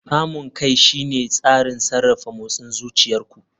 Kamun kai shine tsarin sarrafa motsin zuciyar ku.